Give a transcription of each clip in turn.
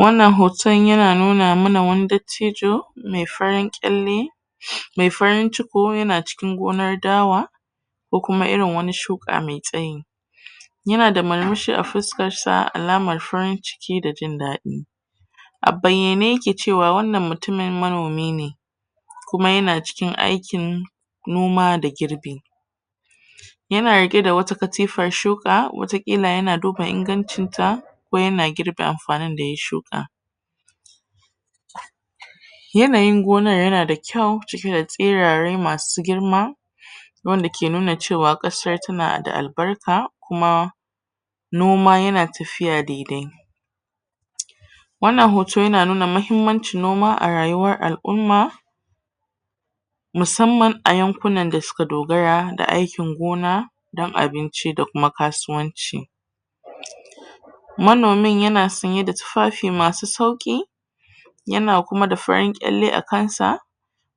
wannan hotan yana nuna mana wani dattijo me farin ƙyalle a baiyane yake cewa wannan mutumin manomi ne kuma yana cikin aikin noma da girbe yana riƙe da wata katifar shuka wata ƙila yana duba ingancinta ko yana girbie amfanin da ya shuka yanayin gonar yana da kyau ciki da tsirare masu girma wanda ke nuna cewa ƙasar tana da albarka kuma noma yana tafiya daidai wannan hoto yana nuna mahimmancin noma a rayuwar al'umma musamman a yankunan da suka dogara da aikin gona dan abinci da kuma kasuwanci manomin yana sanye da tufafi masu sauki yana kuma da farin ƙyalle a kansa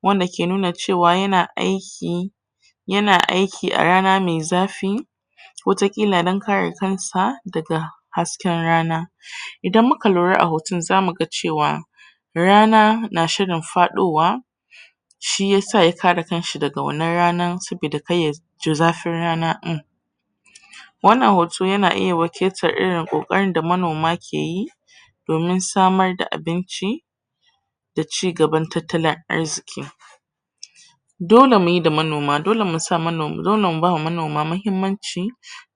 wanda ke nuna cewa yana aiki yana aiki arana me zafi wata ƙila dan kare kansa daga hasken rana idan muka lura a hotan zamu ga cewa rana na shirin faɗowa shiyasa ya kare kanshi daga wannan rana sabida kar yajii zafin rana in wannan hoto yana iya wakiltar irin kokarin da manoma keyi domin samar da abinci da cigaban tattalin arziki dole muyi da manoma dole mu bawa manoma mahimmanci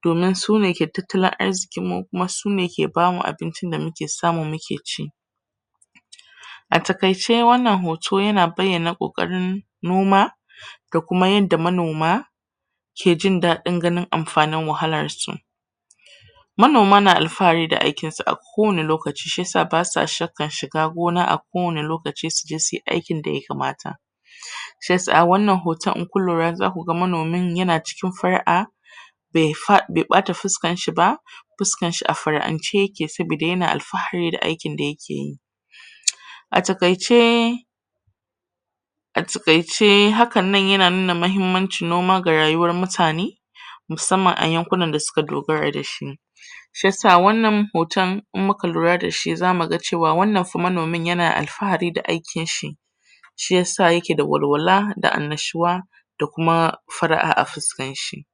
domin sune ke tattalin arzikinmu kuma sune ke bamu abincin da muke samu muke ci a takaice wannan hoto yana bayyana ƙoƙarin noma da kuma yanda manoma ke jindaɗin ganin amfanin wahalarsu manoma na alfahari da aikinsu a kowanne lokaci shiyasa basa shakkar shiga gona a kowanne lokaci suje suyi aikin daya kamata shiyasa a wannan hoton inkun lura zaku ga manomin yana cikin far'a be ɓata fuskanshi ba fuskanshi a far'ance yake sabida yana alfahari da aikin da yake a taƙaice a taƙaice hakan nan yana nuna mahimmancin noma ga rayuwar mutane musamman a yankunan da suka dogara dashi shiyasa wannan hotan in muka lura dashi zamu ga cewa wannan fa manomin yana alfahari da aikinshi shiyasa yake da walwala da annishuwa da kuma far'a a fuskanshi